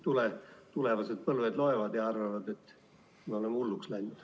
Muidu tulevased põlved loevad ja arvavad, et me oleme hulluks läinud.